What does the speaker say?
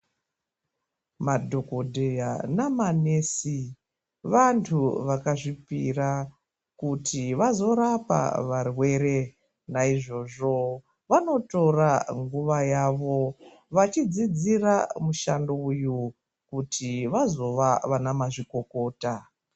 Madhokodheya namanesi vantu vakazvipira kuti vazorapa varwere naizvozvo vanotora nguva yavo vachidzidzira mishango kuti vazova vana mazvikokota.